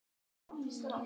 Kaffi og safi í lokin.